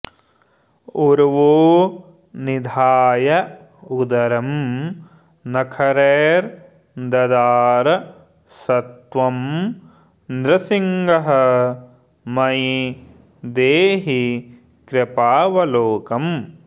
उर्वो निधाय उदरं नखरैर्ददार स त्वं नृसिंह मयि देहि कृपावलोकम्